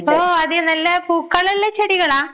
ഓഹ് അത് നല്ല പൂക്കളുള്ള ചെടികളാ?